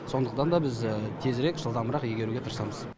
сондықтан да біз тезірек жылдамырақ игеруге тырысамыз